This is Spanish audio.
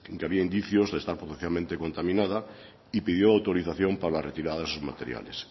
que había indicios de estar potencialmente contaminada y pidió autorización para retirada de esos materiales